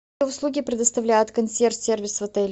услуги предоставляет консьерж сервис в отеле